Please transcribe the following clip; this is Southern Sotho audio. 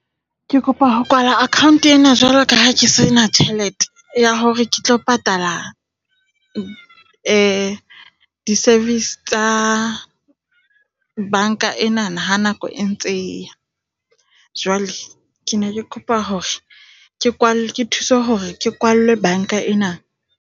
Ke kopa ho kwala account ena jwalo ka ha ke sena tjhelete ya hore ke tlo patala di-service tsa banka ena ha nako e ntse e ya. Jwale ke ne ke kopa hore ke ke thuswe hore ke kwallwe banka ena.